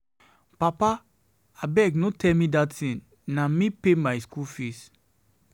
Papa, abeg no tell me dat thing, na me pay my school fees.